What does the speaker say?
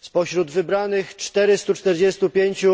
Spośród wybranych 445